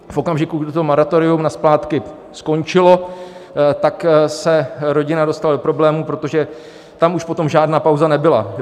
V okamžiku, kdy to moratorium na splátky skončilo, tak se rodina dostala do problémů, protože tam už potom žádná pauza nebyla.